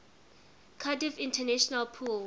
cardiff international pool